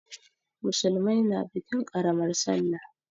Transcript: Musulmai na bikin ƙaramar sallah.